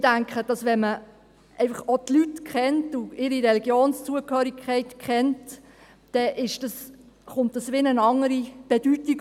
Ich denke, wenn man die Leute und deren Religionszugehörigkeit kennt, erhält das innerhalb des öffentlichen Lebens eine andere Bedeutung.